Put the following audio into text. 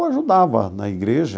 Eu ajudava na igreja.